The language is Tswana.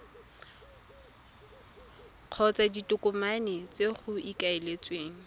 kgotsa ditokomane tse go ikaeletsweng